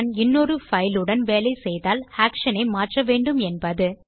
இன்னொரு பைல் உடன் வேலை செய்தால் ஆக்ஷன் ஐ மாற்ற வேண்டும் என்பது